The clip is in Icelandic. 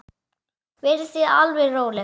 Verið þið alveg róleg.